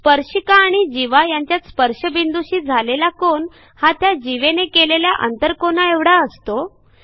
स्पर्शिका आणि जीवा यांच्यात स्पर्शबिंदूशी झालेला कोन हा त्या जीवेने केलेल्या आंतरकोनाएवढा असतो